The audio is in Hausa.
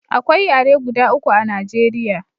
Akwai yare guda uku a Najeriya